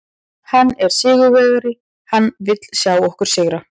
Hann er sigurvegari, hann vill sjá okkur sigra.